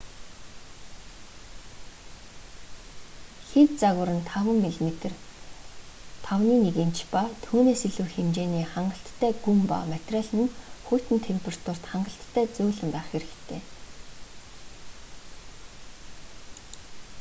хэв загвар нь 5 мм 1/5 инч ба түүнээс илүү хэмжээний хангалттай гүн ба материал нь хүйтэн температурт хангалттай зөөлөн байх хэрэгтэй